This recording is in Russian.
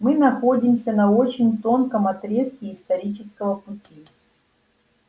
мы находимся на очень тонком отрезке исторического пути